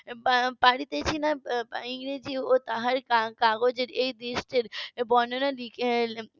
না তার ইংরেজি ও তার কাজগ এর এই দৃশ্যের বর্ণনা .